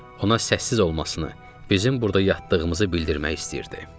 Ona səssiz olmasını, bizim burda yatdığımızı bildirmək istəyirdi.